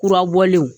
Kurabɔlenw